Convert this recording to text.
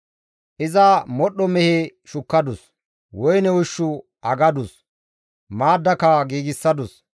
Iza modhdho mehe shukkadus; woyne ushshu aggadus; maaddaka giigsadus.